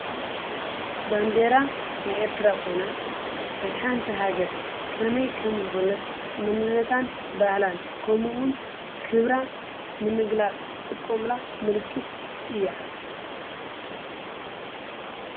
ባንዴራ ናይ ኤርትራ ኻይና ናይ ሓንቲ ሃገር ከመይ ከም ዝኾነት ምንነታን ባህላን ከምውን ክብራ ንምግላፅ ዝጥቆምላ ምልክት እያ።